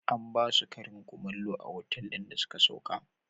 An ba su karin kumallo a otal ɗin da suka sauka.